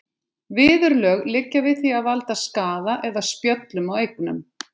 Viðurlög liggja við því að valda skaða eða spjöllum á eignum.